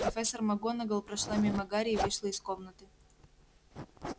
профессор макгонагалл прошла мимо гарри и вышла из комнаты